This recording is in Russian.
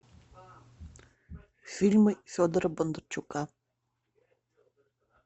фильмы федора бондарчука